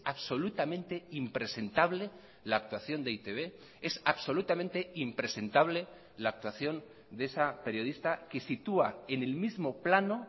absolutamente impresentable la actuación de e i te be es absolutamente impresentable la actuación de esa periodista que sitúa en el mismo plano